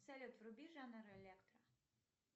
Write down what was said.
салют вруби жанр электро